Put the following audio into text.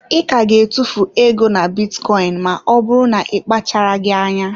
I ka ga-etufu ego na bitcoin, ma ọ bụrụ na ị kpacharaghị anya.